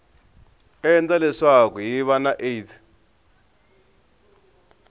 endla leswaku hiv na aids